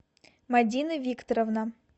мадина викторовна